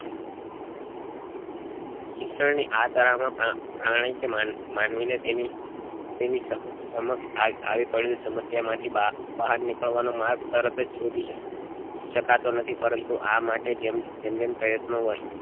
શિક્ષણ ની આ શાળા માં પણ પ્રાણી કે મન માનવી ને તેની સમક્ષ આવી આવી પડેલી સમસ્યા માંથી બહાર બહાર નીકળવા નો માર્ગ તરત ત જ શોધી શકતો નથી પરંતુ આ માટે જેમ જેમ જેમ પ્રયત્નો